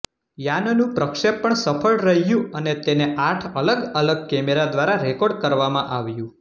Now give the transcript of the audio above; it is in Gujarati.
યાનનું પ્રક્ષેપણ સફળ રહ્યું અને તેને આઠ અલગ અલગ કેમેરા દ્વારા રેકોર્ડ કરવામાં આવ્યું